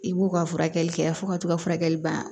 I b'u ka furakɛli kɛ fo ka to ka furakɛli ban